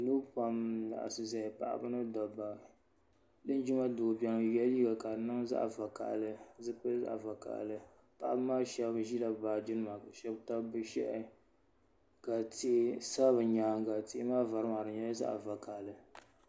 Niriba pam n laɣisi zaya paɣaba ni dabba linjima doo bɛni o ye la liiga ka di niŋ zaɣi vakahali paɣaba maa shɛba zila bi baaji nima ka shɛba tabi bi bo shɛla ka tihi sa bi y ka yɛanga tia maa vari maa di nyɛla zaɣi vakahali.